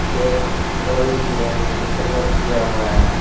एक डोली भी है उसको कलर किया हुआ है।